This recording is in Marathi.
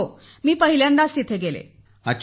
हो मी प्रथमच तेथे गेले होते